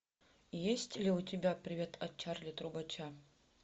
есть ли у тебя привет от чарли трубача